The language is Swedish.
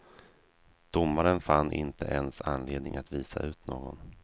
Domaren fann inte ens anledning att visa ut någon.